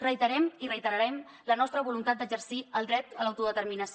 reiterem i reiterarem la nostra voluntat d’exercir el dret a l’autodeterminació